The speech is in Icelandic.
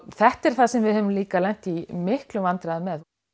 þetta er það sem við höfum líka lent í miklum vandræðum með